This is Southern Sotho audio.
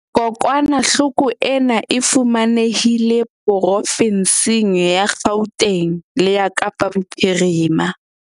Kokwanahloko ena e fumanehile profensing ya Gauteng le ya Kapa Bophirima.